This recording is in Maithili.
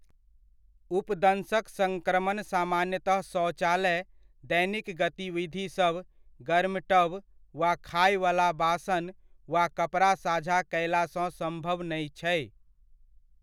उपदंशक सङ्क्रमण सामान्यतः शौचालय, दैनिक गतिविधिसभ, गर्म टब, वा खायवला बासन वा कपड़ा साझा कयलासँ सम्भव नहि छै।